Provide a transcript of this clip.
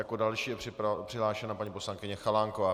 Jako další je přihlášena paní poslankyně Chalánková.